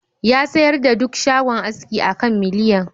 Ya sayar da duk shagon aski a kan miliyan